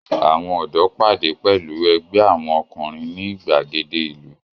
Àwọn ọ̀dọ́ pàdé pẹ̀lú ẹgbẹ́ àwọn ọkùnrin ní ìgbàgede ìlú.